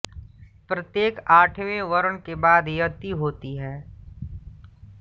प्रत्येक आठवें वर्ण के बाद यति होती है